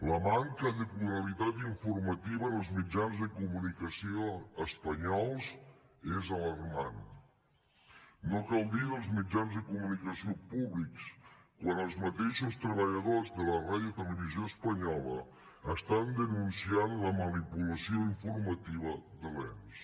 la manca de pluralitat informativa en els mitjans de comunicació espanyols és alarmant no cal dir dels mitjans de comunicació públics quan els mateixos treballadors de la ràdio televisió espanyola estan denunciant la manipulació informativa de l’ens